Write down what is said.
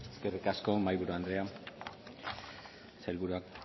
eskerrik asko mahaiburu andrea sailburua